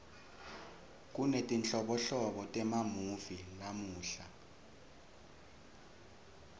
kunetinhlobonhlobo temamuvi lamuhla